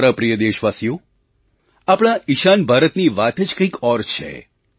મારા પ્રિય દેશવાસીઓ આપણા ઈશાન ભારતની વાત જ કંઈક ઓર છે